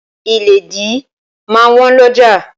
Ìlédìí máa wọ́n lọ́ja.